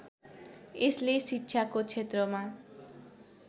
यसले शिक्षाको क्षेत्रमा